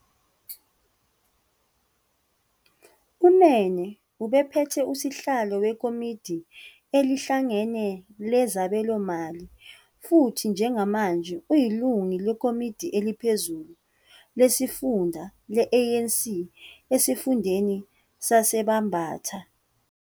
UNene ubephethe uSihlalo weKomidi Elihlangene Lezabelomali futhi njengamanje uyilungu leKomidi Eliphezulu Lesifunda le-ANC esifundeni saseBambatha.